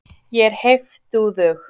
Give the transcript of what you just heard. Ég er heiftúðug.